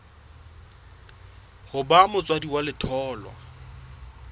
ho ba motswadi wa letholwa